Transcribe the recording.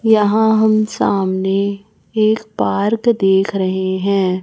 यहां हम सामने एक पार्क देख रहे हैं।